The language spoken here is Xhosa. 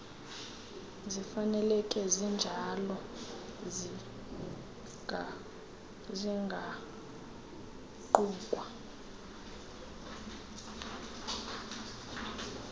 zifaneleke zinjalo zingaquka